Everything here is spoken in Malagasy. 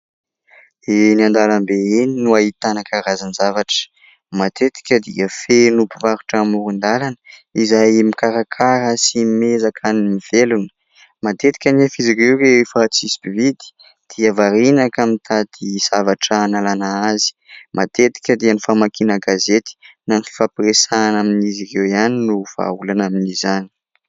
Eny an-dalambe eny no ahitana karazan-javatra, matetika dia feno mpivarotra amoron-dalana izay mikarakara sy miezaka ny mivelona. Matetika anefa izy ireo rehefa tsisy mpividy dia variana ka mitady zavatra hanalana azy. Matetika dia ny famakiana gazety na ny fifampiresahana amin'izy ireo ihany no vahaolana amin'izany.